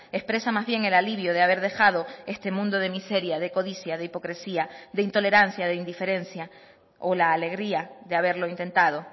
expresa más bien el alivio de haber dejado este mundo de miseria de codicia de hipocresía de intolerancia de indiferencia o la alegría de haberlo intentado